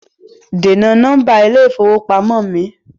Dènà nọ́mbà ilé ìfowópamọ́ mi!